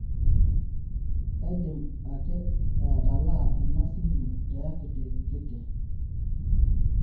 kaidim ake atalaa enasimu te akiti kiti